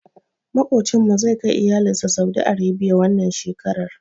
Maƙocinmu zai kai iyalinsa saudi Arabia wannan shekarar.